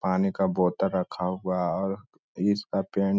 पानी का रखा हुआ है और इसका पेन --